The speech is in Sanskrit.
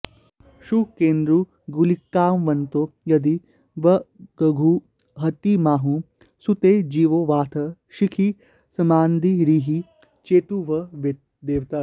शुक्रेन्दू गुलिकान्वितौ यदि वधूगोहत्तिमाहुः सुते जीवो वाथ शिखी समान्दिरिह चेद्भूदेवत्या